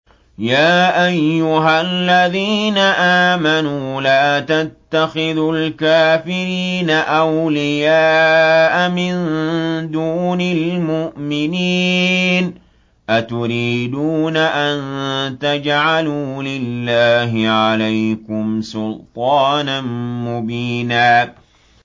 يَا أَيُّهَا الَّذِينَ آمَنُوا لَا تَتَّخِذُوا الْكَافِرِينَ أَوْلِيَاءَ مِن دُونِ الْمُؤْمِنِينَ ۚ أَتُرِيدُونَ أَن تَجْعَلُوا لِلَّهِ عَلَيْكُمْ سُلْطَانًا مُّبِينًا